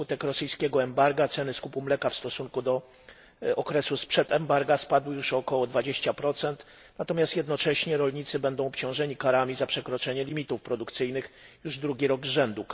Na skutek rosyjskiego embarga ceny skupu mleka w stosunku do okresu sprzed embarga spadły już o około 20, natomiast jednocześnie rolnicy będą obciążeni karami za przekroczenie limitów produkcyjnych już drugi rok z rzędu.